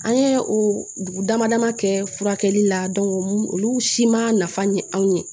An ye o dugu dama dama kɛ furakɛli la olu si ma nafa ɲɛ anw ye